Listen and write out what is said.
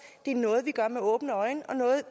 det er noget vi gør med åbne øjne og noget